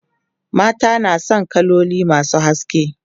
mata na San kaloli masu haske